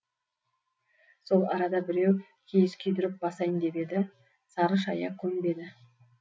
сол арада біреу киіз күйдіріп басайын деп еді сары шая көнбеді